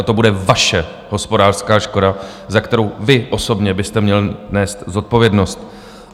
A to bude vaše hospodářská škoda, za kterou vy osobně byste měl nést zodpovědnost.